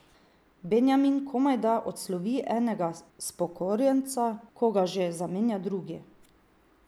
Benjamin komajda odslovi enega spokorjenca, ko ga že zamenja drugi.